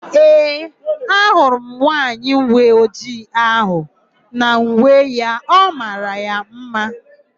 Ee, ahụrụ m nwaanyị uweojii áhụ̀ n'uwe ya; ọ mara ya ḿmá.